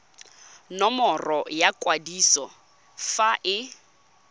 nomoro ya kwadiso fa e